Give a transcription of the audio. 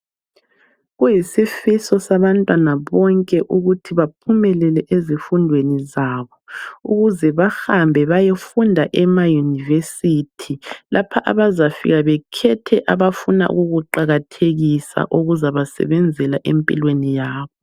Kuyisifiso sabantwana bonke ukuthi baphumelele ezifundweni zabo ukuze bahambe bayofunda emaUniversity lapha abazafika bekhethe abafuna ukukuqakathekisa okuzabasebenzela empilweni yabo.